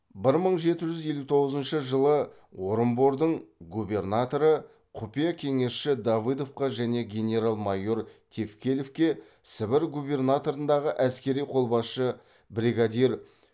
бір мың жеті жүз елу тоғызыншы жылы орынбордың губернаторы құпия кеңесші давыдовқа және генерал майор тевкелевке сібір губернаторындағы әскери қолбасшы брегадир